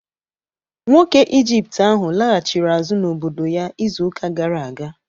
Nwoke onye Ijipt ahụ laghachiri azụ n'obodo ya izu ụka gara aga